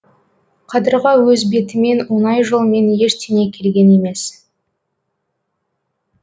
қадырға өз бетімен оңай жолмен ештеңе келген емес